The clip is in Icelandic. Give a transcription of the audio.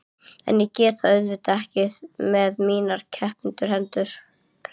En ég get það auðvitað ekki með mínar krepptu hendur.